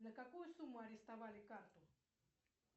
на какую сумму арестовали карту